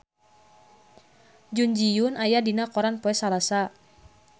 Jun Ji Hyun aya dina koran poe Salasa